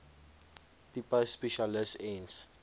tipe spesialis ens